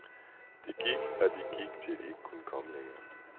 De gik og de gik til de ikke kunne komme længre.